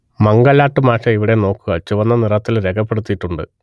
മംഗലാട്ട് മാഷെ ഇവിടെ നോക്കുക ചുവന്ന നിറത്തിൽ രേഖപ്പെടുത്തിയിട്ടുണ്ട്